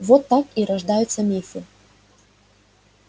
вот так и рождаются мифы